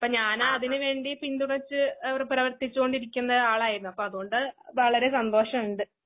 പ്പഞാനാ അതിനുവേണ്ടി പിന്തുടച്ച് അവർ പ്രവർത്തിച്ച്കൊണ്ടിരിക്കുന്നയാളായിരുന്നു. അപ്പഅതുകൊണ്ട് വളരെസന്തോഷയോണ്ട് .